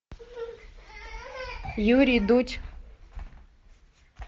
юрий дудь